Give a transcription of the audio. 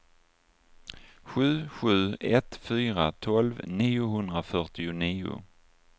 sju sju ett fyra tolv niohundrafyrtionio